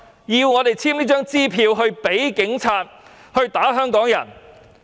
要我們簽發這張支票給警察打香港人？